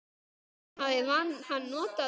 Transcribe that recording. Tímann hafði hann notað vel.